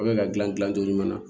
Aw bɛ ka gilan gilan cogo ɲuman na